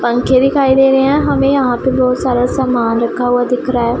पंखे दिखाई दे रहे हैं हमें यहां पे बहुत सारा सामान रखा हुआ दिख रहा--